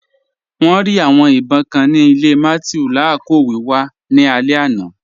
Wọn rí awọn ìbọǹ kàn ni ilẹ̀ Mathew lakọọ̀ wíwà ni alẹ̀ àná.